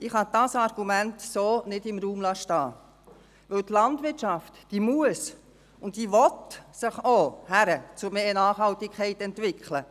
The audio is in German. Ich kann dieses Argument so nicht im Raum stehen lassen, denn die Landwirtschaft muss und will sich auch hin zu mehr Nachhaltigkeit entwickeln.